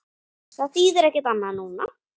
Það þýðir ekkert annað núna.